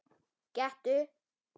Gettu